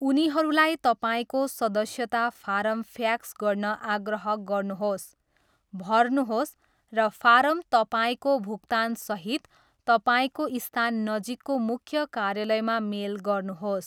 उनीहरूलाई तपाईँको सदस्यता फारम फ्याक्स गर्न आग्रह गर्नुहोस्, भर्नुहोस्, र फारम तपाईँको भुक्तानसहित तपाईँको स्थान नजिकको मुख्य कार्यालयमा मेल गर्नुहोस्।